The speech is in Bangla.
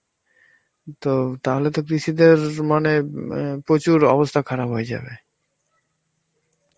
তো তাহলে তো কৃষি দের আঁ মানে প্রচুর অবস্থা খারাপ হয়ে যাবে.